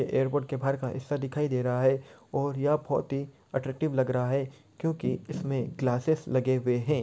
Airport के बाहर का हिस्सा दिखाई दे रहा है और यह बहुत ही अट्रैक्टिव लग रहा है क्युकी इसमें ग्लासीस लगे हुए है।